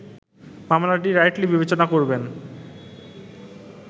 মামলাটি রাইটলি বিবেচনা করবেন